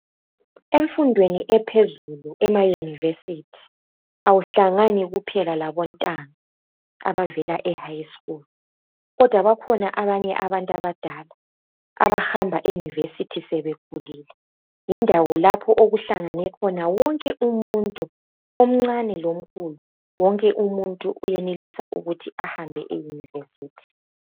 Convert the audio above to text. Emfundweni ephezulu emauniversity, awuhlangani kuphela labontanga. Abavela ehigh school, kodwa bakhona abanye abantu abadala, abahamba euniversity sebekhulile. Yindawo lapho okuhlangane khona wonke umuntu, omncane lomkhulu. Wonke umuntu uyenelisa ukuthi ahambe euniversity.